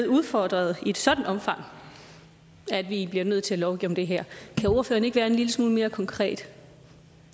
udfordret i et sådant omfang at vi bliver nødt til at lovgive om det her kan ordføreren ikke være en lille smule mere konkret